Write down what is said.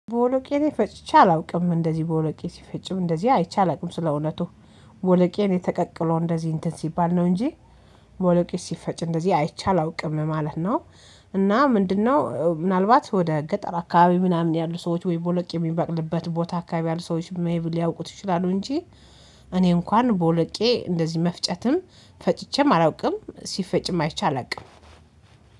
ቦለቄ እኔ ፈጭቼ አላውቅም እንደዚህ ቦለቄ ሲፈጭም እንደዚህ አይቼ አላውቅም ስለእውነቱ ቦለቄ እኔ ተቀቅሎ እንደዚህ እንትን ሲባል ነው እንጂ ቦወሎቄ ሲፈጭ እንደዚህ አይቻል አውቅም ማለት ነው። እና ምንድነው? ምናልባት ወደ ገጠር አካባቢ ምናምን ያሉ ሰዎች ወይ ቦለቄ የሚበቅልበት ቦታ አካባቢ ያሉ ሰዎች ሊያውቁት ይችላሉ እንጂ። እኔ እንኳን ቦለቄ እንደዚህ መፍጨትም ፈጭቼም አላውቅም ሲፈጭም አይቼ አላውቅም።